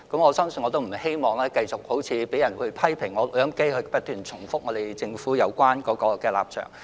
我不希望繼續被人批評我像錄音機般不斷重複政府的有關立場。